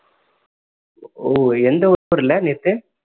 ஓ எந்த நேத்து